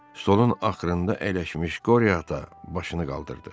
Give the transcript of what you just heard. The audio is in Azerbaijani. Stolun axırında əyləşmiş Qoryo ata başını qaldırdı.